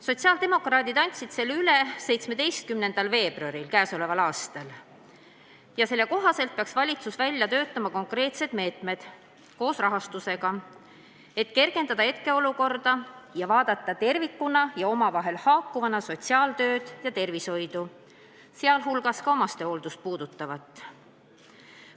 Sotsiaaldemokraadid andsid selle üle tänavu 17. veebruaril ja selle kohaselt peaks valitsus välja töötama konkreetsed meetmed koos rahastusega, et kergendada hetkeolukorda ning vaadata tervikuna ja omavahel haakuvana sotsiaaltööd ja tervishoidu, sh omastehooldust puudutavat.